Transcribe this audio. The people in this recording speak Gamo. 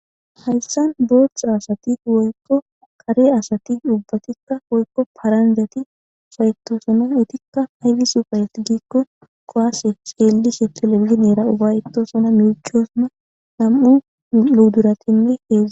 Dumma dumma paranjjatti issippe giididi uffayetosona.